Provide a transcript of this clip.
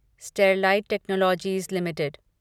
Sterlite Technologies limited